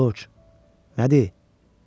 Corc, nədir?